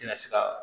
Tɛna se kaa